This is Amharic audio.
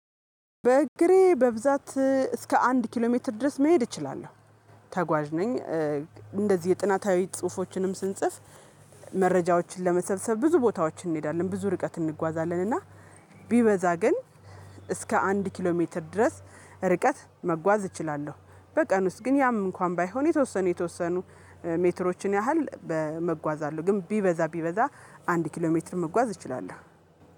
በእግሬ በብዛት እስከ አንድ ኪሎ ሜትር ድረስ መሄድ እችላለሁ። ተጓዥ ነኝ እንደዚህ የጥናታዊ ጽሁፎችንም ስንጽፍ መረጃዎችን ለመሰብሰብ ብዙ ቦታዎችን እንሄዳለን ብዙ ርቀት እንጓዛለን እና ቢበዛ ግን እስከ አንድ ኪሎ ሜትር ድረስ ርቀት መጓዝ እችላለሁ። በቀን ውስጥ ግን ያም እንኳን ባይሆን የተወሰኑ የተወሰኑ ሜትሮችን ያህል በመጓዛለው ግን ቢበዛ ቢበዛ አንድ ኪሎ ሜትር መጓዝ እችላለሁ።